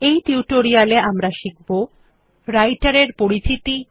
এই টিউটোরিয়াল এ আমরা শিখব রাইটের এর পরিচিতি